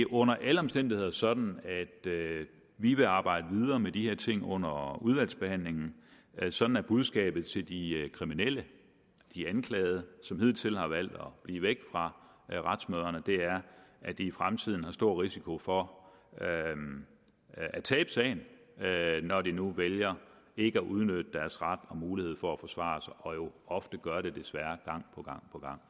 under alle omstændigheder sådan at vi vil arbejde videre med de her ting under udvalgsbehandlingen sådan er budskabet til de kriminelle de anklagede som hidtil har valgt at blive væk fra retsmøderne i fremtiden er der stor risiko for at tabe sagen når de nu vælger ikke at udnytte deres ret og mulighed for at forsvare sig og jo ofte gør det desværre gang på gang